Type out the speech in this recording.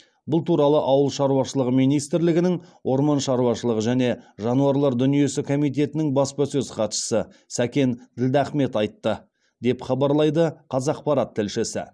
бұл туралы ауыл шаруашылығы министрлігінің орман шаруашылығы және жануарлар дүниесі комитетінің баспасөз хатшысы сәкен ділдахмет айтты деп хабарлайды қазақпарат тілшісі